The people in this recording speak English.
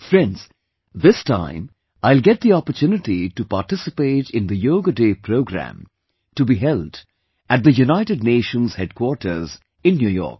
Friends, this time I will get the opportunity to participate in the Yoga Day program to be held at the United Nations Headquarters in New York